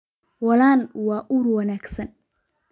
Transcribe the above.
Waalan waa ur wanaagsan.